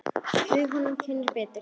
Við munum kynnast betur.